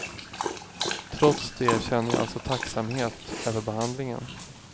Trots det känner jag alltså tacksamhet över behandlingen.